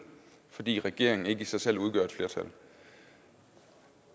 fordi regeringen i sig selv ikke udgør et flertal